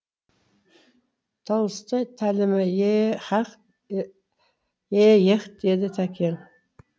толстой тәлімі е еһ деді тәкең